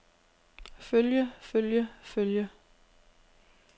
følge følge følge